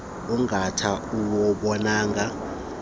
ungaka uwubonayo nontle